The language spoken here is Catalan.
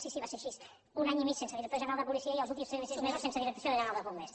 sí sí va ser així un any i mig sense director general de policia i els últims sis mesos sense di recció general dels bombers